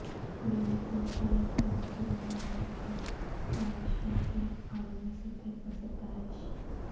green cover کے لیے حکومت تلنگانہ کی کاوشوں کی عالمی سطح پر ستائش